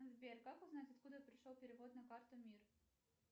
сбер как узнать откуда пришел перевод на карту мир